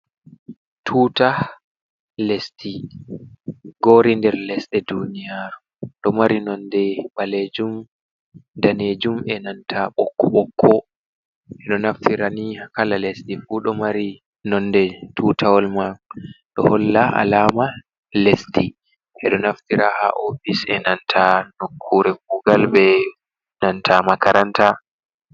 Tuta lesdi, gori nder lesdi duniyaru, ɗo mari nonde ɓalejuum danejuum e nanta ɓokko ɓokko, ɓe ɗoo naftira ni kala lesdi fuu ɗo mari nonde tutawal mai do holla alama lesdi, ɓe do naftira ha ofis e nanta nokkure kuugal be nanta makaranta.